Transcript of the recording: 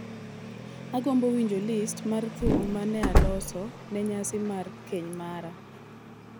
Agombo winjo list mar thum ma ne aloso ne nyasi mar keny mara